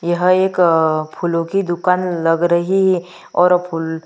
यह एक अअअ फूलों की दुकान लग रही है और फूल--